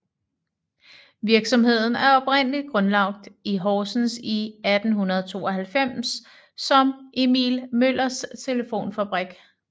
Virksomheden er oprindeligt grundlagt i Horsens i 1892 som Emil Møllers Telefonfabrik